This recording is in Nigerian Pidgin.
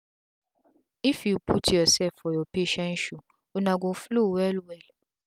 if u put ur sef for ur patient shoe una go dey um flow well wel